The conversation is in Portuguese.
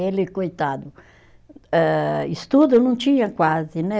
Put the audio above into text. Ele, coitado, eh estudo não tinha quase, né?